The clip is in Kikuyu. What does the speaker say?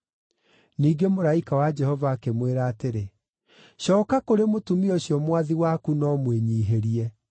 Ningĩ mũraika wa Jehova akĩmwĩra atĩrĩ, “Cooka kũrĩ mũtumia ũcio mwathi waku na ũmwĩnyiihĩrie.”